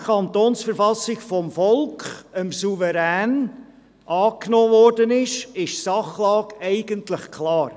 Da die KV vom Volk, dem Souverän, angenommen wurde, ist die Sachlage eigentlich klar.